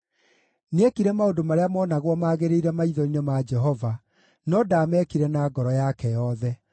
Nĩekire maũndũ marĩa moonagwo magĩrĩire maitho-inĩ ma Jehova, no ndaamekire na ngoro yake yothe.